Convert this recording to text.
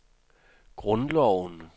grundloven